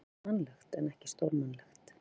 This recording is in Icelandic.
Þetta er mannlegt en ekki stórmannlegt.